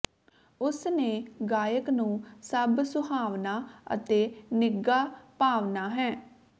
ਉਸ ਨੇ ਗਾਇਕ ਨੂੰ ਸਭ ਸੁਹਾਵਣਾ ਅਤੇ ਨਿੱਘਾ ਭਾਵਨਾ ਹੈ